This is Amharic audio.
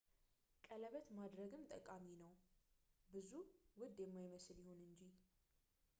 ቀለበት ማድረግም ጠቃሚ ነው ብዙ ውድ የማይመስል ይሁን እንጂ